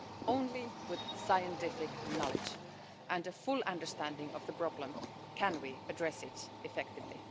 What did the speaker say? Only with scientific knowledge and a full understanding of the problem can we address it effectively.